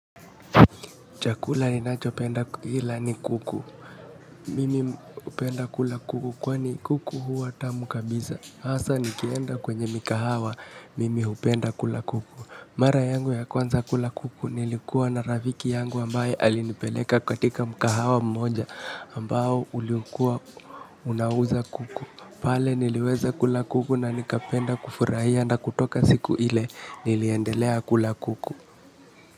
Chakula ninacho penda kuila ni kuku. Mimi hupenda kula kuku kwani kuku huwa tamu kabisa. Hasa nikienda kwenye mikahawa, mimi hupenda kula kuku. Mara yangu ya kwanza kula kuku nilikuwa na rafiki yangu ambaye alinipeleka katika mikahawa mmoja ambao uliokua unauza kuku. Pale niliweza kula kuku na nikapenda kufurahia na kutoka siku ile niliendelea kula kuku.